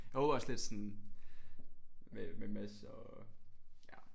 Jeg håber også lidt sådan med med Mads og ja